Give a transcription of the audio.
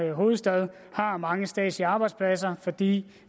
er hovedstad har mange statslige arbejdspladser fordi